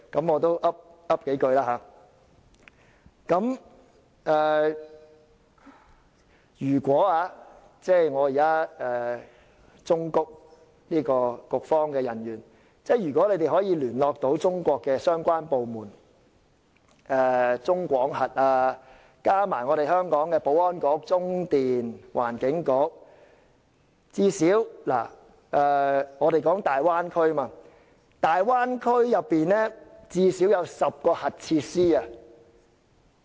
我現在要忠告局方人員，如你們能聯絡中國相關單位如中國廣核集團，便應聯合香港的保安局、中電及環境局與之一同檢視大灣區內現有的最少10個核設施。